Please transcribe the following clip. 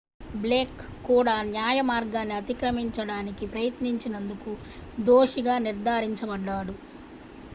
Blake కూడా న్యాయమార్గాన్ని అతిక్రమించడానికి ప్రయత్నించినందుకు దోషిగా నిర్ధారించబడ్డాడు